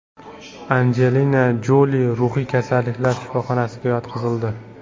Anjelina Joli ruhiy kasalliklar shifoxonasiga yotqizildi.